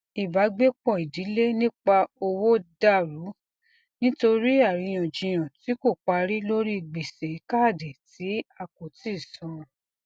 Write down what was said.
ìbágbépọ ìdílé nípa owó dà rú nítorí àríyànjiyàn tí kò parí lórí gbèsè kádì tí a kò tíì san